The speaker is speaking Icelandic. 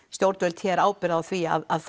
stjórnvöld hér ábyrgð á því að